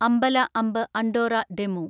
അമ്പല അമ്പ് Andorra DEMU